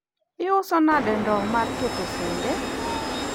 iuso nade ndowo mar keto sende?